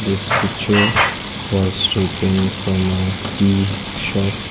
this picture was taken from a tea shop.